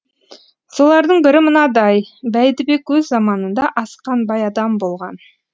солардың бірі мынадай бәйдібек өз заманында асқан бай адам болған